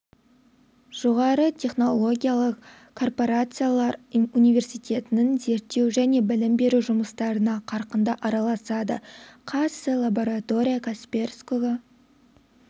жоғары технологиялық корпорациялар университеттің зерттеу және білім беру жұмыстарына қарқынды араласады қаз сі лаборатория касперского